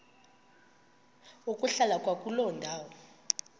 ukuhlala kwakuloo ndawo